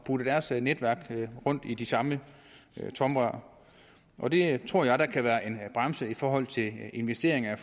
putte deres netværk rundt i de samme tomrør og det tror jeg da kan være en bremse i forhold til investeringer